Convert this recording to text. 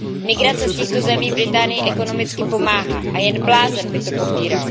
Migrace z těchto zemí Británii ekonomicky pomáhá a jen blázen by to popíral.